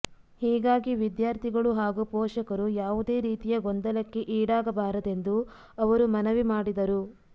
ಹೀಗಾಗಿ ವಿದ್ಯಾರ್ಥಿಗಳು ಹಾಗೂ ಪೋಷಕರು ಯಾವುದೇ ರೀತಿಯ ಗೊಂದಲಕ್ಕೆ ಈಡಾಗಬಾರದೆಂದು ಅವರು ಮನವಿ ಮಾಡಿದರು